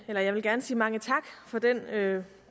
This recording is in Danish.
jeg vil gerne sige mange tak for den